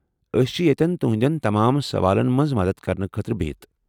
أسۍ چھِ ییٚتٮ۪ن تہنٛدین تمام سوالن منز مدتھ كرنہٕ خٲطرٕ بہتھ ۔